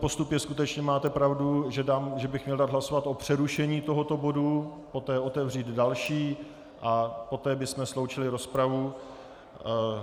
Postup je skutečně, máte pravdu, že bych měl dát hlasovat o přerušení tohoto bodu, poté otevřít další a poté bychom sloučili rozpravu.